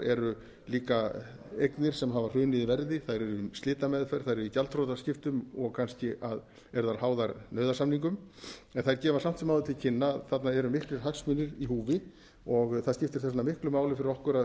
eru líka eignir sem hafa hrunið í verði þær eru í slitameðferð þær eru í gjaldþrotaskiptum og kannski eru þær háðar nauðasamningum þær gefa samt sem áður til kynna að þarna eru miklir hagsmunir í húfi og það skiptir þess vegna miklu máli fyrir okkur að